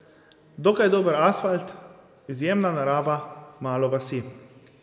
Dokaj dober asfalt, izjemna narava, malo vasi.